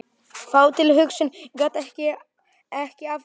Þá tilhugsun gat ég ekki afborið.